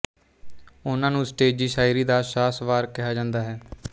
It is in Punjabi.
ਉਨ੍ਹਾਂ ਨੂੰ ਸਟੇਜੀ ਸ਼ਾਇਰੀ ਦਾ ਸ਼ਾਹ ਸਵਾਰ ਕਿਹਾ ਜਾਂਦਾ ਹੈ